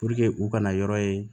u kana yɔrɔ ye